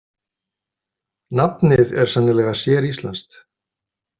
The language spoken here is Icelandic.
Nafnið er sennilega séríslenskt.